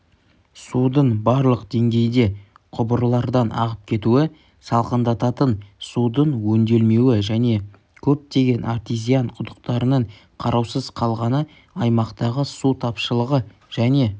судың барлық деңгейде құбырлардан ағып кетуі салқындататын судың өңделмеуі және көптеген артезиан құдықтарының қараусыз қалғаны аймақтағы су тапшылығы және